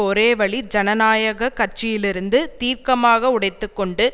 ஒரே வழி ஜனநாயக கட்சியிலிருந்து தீர்க்கமாக உடைத்து கொண்டு